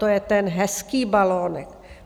To je ten hezký balonek.